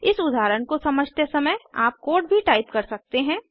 इस उदाहरण को समझते समय आप कोड भी टाइप कर सकते हैं